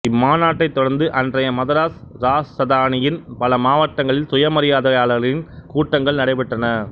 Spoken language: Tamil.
இம்மாநாட்டைத் தொடர்ந்து அன்றைய மதராஸ் இராசதானியின் பல மாவட்டங்களில் சுயமரியாதையாளர்களின் கூட்டங்கள் நடைபெற்றன